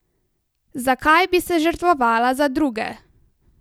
Zakaj bi se žrtvovala za druge?